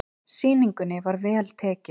Sýningunni var vel tekið.